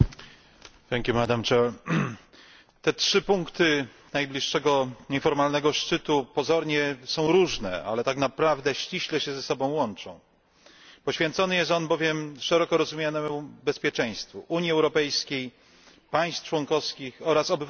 Pani Przewodnicząca! Te trzy punkty najbliższego nieformalnego szczytu pozornie są różne, ale tak naprawdę ściśle się ze sobą łączą. Poświęcony jest on bowiem szeroko rozumianemu bezpieczeństwu Unii Europejskiej, państw członkowskich oraz obywateli.